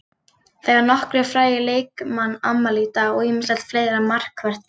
Það eiga nokkrir frægir leikmann afmæli í dag og ýmislegt fleira markvert gerst.